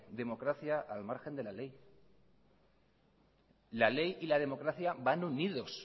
democracia al margen de la ley la ley y la democracia van unidos